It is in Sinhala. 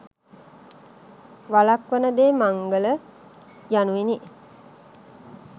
වළක්වන දේ මංගල යනුවෙනි